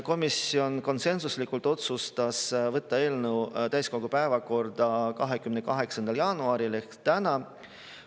Komisjon konsensuslikult otsustas võtta eelnõu täiskogu päevakorda 28. jaanuaril ehk täna.